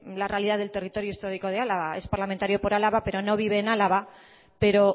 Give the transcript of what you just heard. la realidad del territorio histórico de álava es parlamentario por álava pero no vive en álava pero